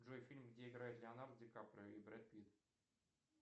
джой фильм где играет леонардо ди каприо и брэд питт